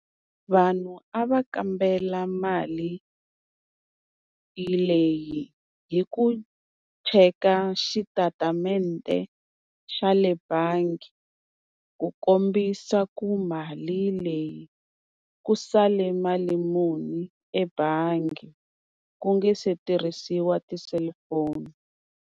Vanhu a va kambela mali leyi hi ku cheka xitatimende xa le bangi, ku kombisa ku mali leyi ku sale mali muni ebangi ku nga se tirhisiwa ti-cellphone.